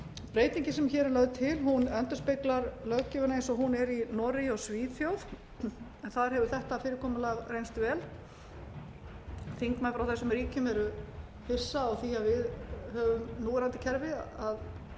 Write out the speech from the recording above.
breytingin sem hér er lögð til endurspeglar löggjöfina eins og hún er í noregi og svíþjóð en þar hefur þetta fyrirkomulag reynst vel þingmenn frá þessum ríkjum eru hissa því að við höfum núverandi kerfi að þingmenn